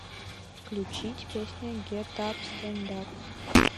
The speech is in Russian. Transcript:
включить песня гет ап стэнд ап